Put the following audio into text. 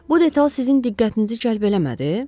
Bu detal sizin diqqətinizi cəlb eləmədi?